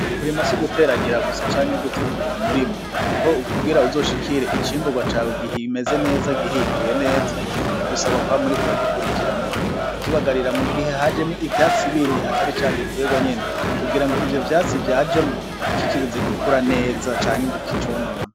Ukurima s'uguteragira gusa canke gutegura umurima ,kuko kugira uzoshikire icimburwa cawe kimeze neza gihinguye neza, bigusaba kwama uriko uragikurikirana, ukakibagarira mu gihe hajemwo ivyatsi bindi atari ca giterwa nyene ,kugira ngo ivyo vyatsi vyajemwo ntibikibuze gukura neza canke ngo kiconone.